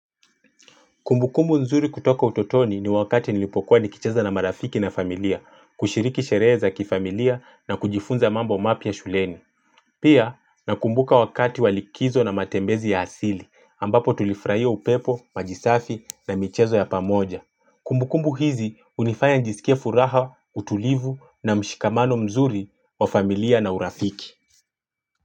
Kumbukumbu nzuri kutoka utotoni ni wakati nilipokuwa nikicheza na marafiki na familia, kushiriki sherehe za kifamilia na kujifunza mambo mapya shuleni. Pia nakumbuka wakati wa likizo na matembezi ya asili ambapo tulifurahia upepo, maji safi na michezo ya pamoja. Kumbukumbu hizi unifanya njisikie furaha, utulivu na mshikamano mzuri wa familia na urafiki.